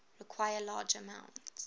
require large amounts